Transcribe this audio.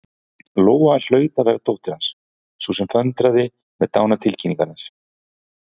Lóa hlaut að vera dóttir Hans, sú sem föndraði með dánartilkynningar.